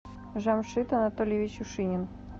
жамшид анатольевич ушинин